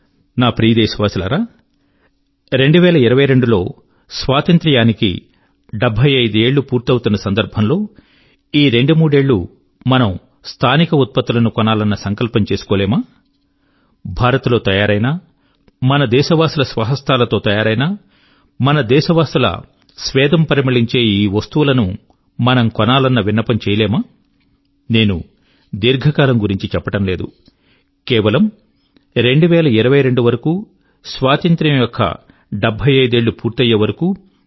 నా ప్రియ దేశవాసులారా 2022 లో స్వాతంత్ర్యానికి 75 ఏళ్ళు పూర్తవుతున్న సందర్భంలో కనీసం ఈ రెండు మూడేళ్ళు మనం స్థానిక ఉత్పత్తులను కొనాలన్న సంకల్పం చేసుకోలేమా భారత్ లో తయారైన మన దేశవాసుల స్వహస్తాల తో తయారైన మన దేశవాసుల స్వేదం పరిమళించే ఈ వస్తువుల ను మనం కొనాలన్న విన్నపం చేయలేమా నేను దీర్ఘకాలం గురించి చెప్పడం లేదు కేవలం 2022 వరకు స్వాతంత్ర్యం యొక్క 75 ఏళ్ళు నిండే వరకు